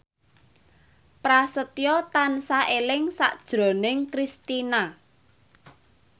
Prasetyo tansah eling sakjroning Kristina